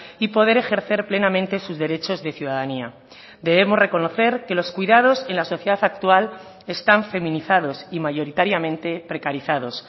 y poder ejercer plenamente sus derechos de ciudadanía debemos reconocer que los cuidados en la sociedad actual están feminizados y mayoritariamente precarizados